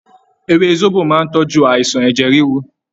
Ewé sóbò máà ń tọ́jú àìsàn ẹ̀jẹ̀ ríru